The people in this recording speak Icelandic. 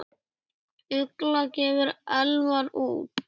Ugla gefur Elmar út.